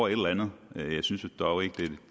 eller